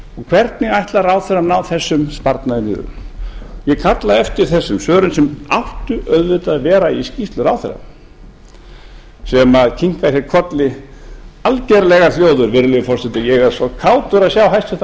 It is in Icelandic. hvernig ætlar ráðherrann að ná þessum sparnaði niður ég kalla eftir þessum svörum sem áttu auðvitað að vera í skýrslu ráðherra sem kinkar kolli algerlega hljóður virðulegi forseti ég er svo kátur að sjá hæstvirtur